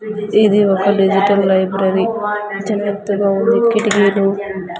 ఇది ఒక digital library చాలా పెద్దగా ఉంది కిటికీలు అన్ని--